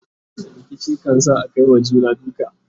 rikici kan sa Akai wa juna duka